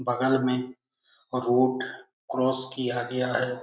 बगल में road cross किया गया है ।